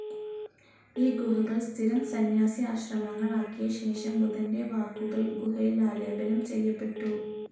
ഈ ഗുഹകൾ സ്ഥിരം സന്യാസി ആശ്രമങ്ങൾ ആക്കിയ ശേഷം, ബുദ്ധൻ്റെ വാക്കുകൾ ഗുഹയിൽ ആലേപനം ചെയ്യപ്പെട്ടു.